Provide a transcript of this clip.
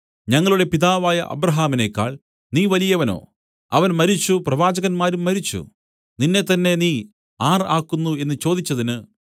ഞങ്ങളുടെ പിതാവായ അബ്രാഹാമിനെക്കാൾ നീ വലിയവനോ അവൻ മരിച്ചു പ്രവാചകന്മാരും മരിച്ചു നിന്നെത്തന്നെ നീ ആർ ആക്കുന്നു എന്നു ചോദിച്ചതിന്